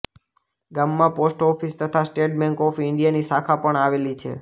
ગામમાં post office તથા State Bank of ઇન્ડિયાની શાખા પણ આવેલી છે